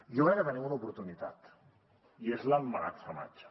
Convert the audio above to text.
jo crec que tenim una oportunitat i és l’emmagatzematge